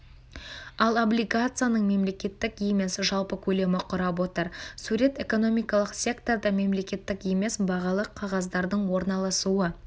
ал облигацияның мемлекеттік емес жалпы көлемі құрап отыр сурет экономикалық секторда мемлекеттік емес бағалы қағаздардың орналасуы